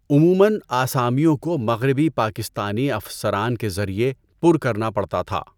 عموماََ، آسامیوں کو مغربی پاکستانی افسران کے ذریعے پر کرنا پڑتا تھا۔